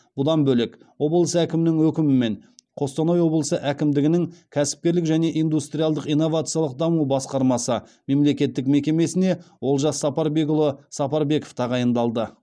бұдан бөлек облыс әкімінің өкімімен қостанай облысы әкімдігінің кәсіпкерлік және индустриалдық инновациялық даму басқармасы мемлекеттік мекемесіне олжас сапарбекұлы сапарбеков тағайындалды